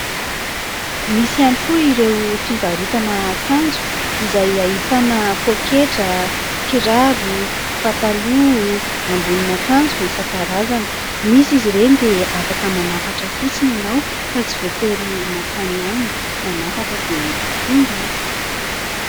Misy ihany koa ireo fivarotana akanjo izay ahitana pôketra, kiraro, pataloha, ambonin'akanjo isan-karazany. Misy izy ireny dia afaka manafatra fotsiny ianao fa tsy voatery mankany aminy, manafatra dia tonga izy.